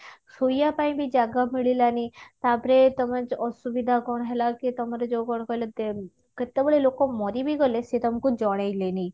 ଶୋଇବା ପାଇଁ ବି ଜାଗା ମିଳିଲାନି ତାପରେ ତମେ ଅ ଅ ଅସୁବିଧା କଣ ହେଲା ତମର ଯୋଉ କଣ କହିଲ କେତେବେଳେ ଲୋକ ମରିବି ଗଲେ ସେ ତମକୁ ଜଣେଇ ଲେନି